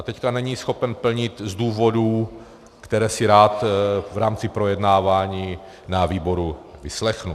A teď není schopen plnit z důvodů, které si rád v rámci projednávání ve výboru vyslechnu.